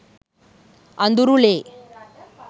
අඳුරු ලේ